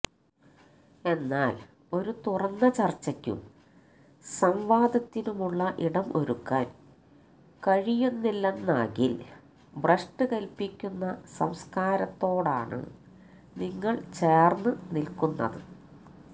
എന്നാൽ ഒരു തുറന്ന ചർച്ചയ്ക്കും സംവാദത്തിനുമുള്ള ഇടം ഒരുക്കാൻ കഴിയുന്നില്ലെന്നാകിൽ ഭ്രഷ്ട് കൽപിക്കുന്ന സംസ്കാരത്തോടാണ് നിങ്ങൾ ചേർന്ന് നിൽക്കുന്നത്